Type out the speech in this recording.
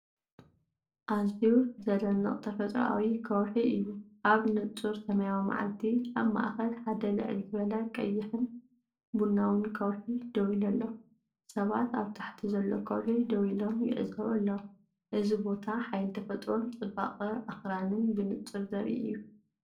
ኣዝዩ ዘደንቕ ተፈጥሮኣዊ ከውሒ እዩ። ኣብ ንጹር ሰማያዊ መዓልቲ፡ ኣብ ማእከል ሓደ ልዕል ዝበለ ቀይሕን ቡናውን ከውሒ ደው ኢሉ ኣሎ። ሰባት ኣብ ታሕቲ ዘሎ ከውሒ ደው ኢሎም ይዕዘቡ ኣለዉ። እዚ ቦታ ሓይሊ ተፈጥሮን ጽባቐ ኣኽራንን ብንጹር ዘርኢእዩ።